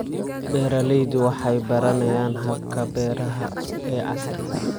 Beeraleydu waxay baranayaan hababka beeraha ee casriga ah.